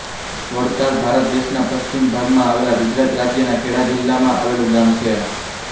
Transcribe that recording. વડતાલ ભારત દેશના પશ્ચિમ ભાગમાં આવેલાં ગુજરાત રાજ્યના ખેડા જિલ્લાના માં આવેલું ગામ છે